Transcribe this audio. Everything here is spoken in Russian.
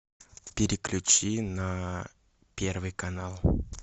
переключи на первый канал